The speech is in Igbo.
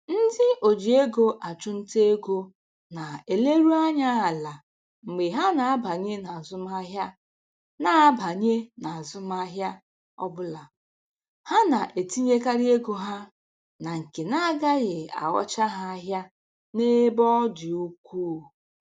Ndị o ji ego achụnta ego na-eleru anya ala mgbe ha na-abanye n'azụmahịa na-abanye n'azụmahịa ọbụla, ha na-etinyekarị ego ha na nke na agaghị aghọcha ha ahịa n'ebe ọ dị ukwuu